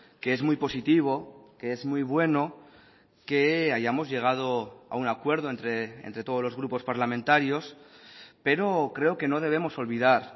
que es muy positivo que es muy bueno que hayamos llegado a un acuerdo entre todos los grupos parlamentarios pero creo que no debemos olvidar